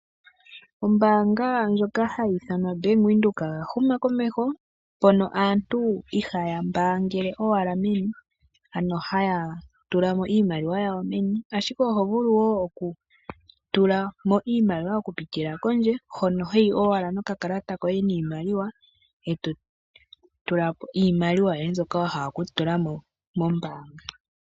Ombaanga ndjoka hayi ithanwa obank Windhoek, oya huma komeho, mpono aantu ihaya mbaangele owala meni, ano haya tula mo iimaliwa yawo meni, ashike oho vulu woo oku tula mo iimaliwa oku pitila kondje hono, hoyi owala no ka kalata koye niimaliwa, eto tula ko iimaliwa yoye, mboka wa hala oku tula mo mombaanga.